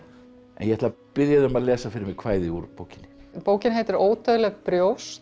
ég ætla að biðja þig um að lesa fyrir mig kvæði úr bókinni bókin heitir ódauðleg brjóst